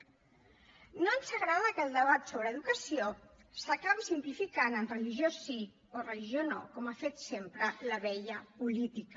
no ens agrada que el debat sobre educació s’acabi simplificant en religió sí o religió no com ha fet sempre la vella política